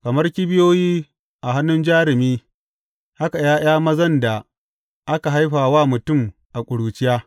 Kamar kibiyoyi a hannun jarumi haka ’ya’ya mazan da aka haifa wa mutum a ƙuruciya.